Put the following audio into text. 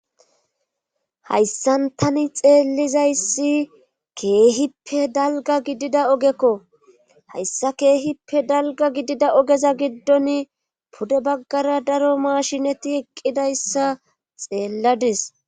Hayssantani xeellizayssi keehippe dalga gidida ogekko hayssa keehippe dalga gidida ogeza giddon pude baggara daro mashinati eqqidayssa xeelladis